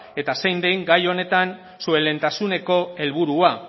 eta zein den gai honetan zuen lehentasuneko helburua